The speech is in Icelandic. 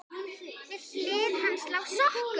Við hlið hans lá sokkur.